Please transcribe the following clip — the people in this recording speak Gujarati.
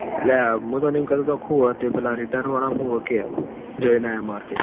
અ લાયા મુ તન હું કેતો તો હું હ તે પેલા રીટન વાળા નું હું હે કે અવ જઈ ન આયા market મો